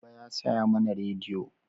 Baba ya saya mana rediyo